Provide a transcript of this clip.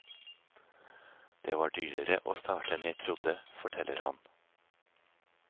Det var dyrere å starte enn jeg trodde, forteller han.